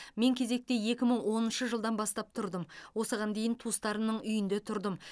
мен кезекте екі мың оныншы жылдан бастап тұрдым осыған дейін туыстарымның үйінде тұрдым